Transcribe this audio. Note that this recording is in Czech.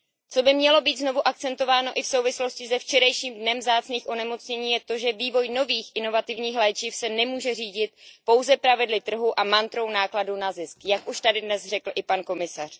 Co by mělo být znovu akcentováno i v souvislosti se včerejším Dnem vzácných onemocnění je to, že vývoj nových inovativních léčiv se nemůže řídit pouze pravidly trhu a mantrou nákladů na zisk, jak už tady dnes řekl i pan komisař.